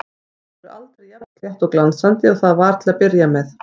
Það verður aldrei jafn slétt og glansandi og það var til að byrja með.